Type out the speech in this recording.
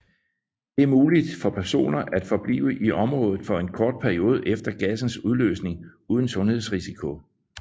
Det er muligt for personer at forblive i området for en kort periode efter gassens udløsning uden sundhedsrisiko